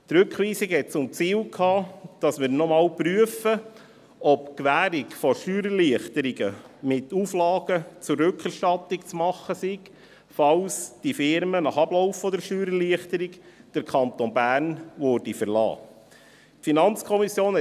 Die Rückweisung hatte zum Ziel, dass wir noch einmal prüfen, ob die Gewährung von Steuererleichterungen mit Auflagen zur Rückerstattung zu machen sei, falls die Firmen nach Ablauf der Steuererleichterung den Kanton Bern verlassen würden.